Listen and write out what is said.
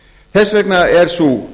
þess vegna er sú